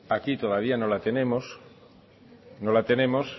aquí todavía no la tenemos no la tenemos